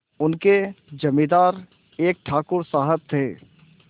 उनके जमींदार एक ठाकुर साहब थे